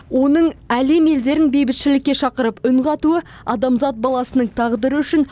оның әлем елдерін бейбітшілікке шақырып үн қатуы адамзат баласының тағдыры үшін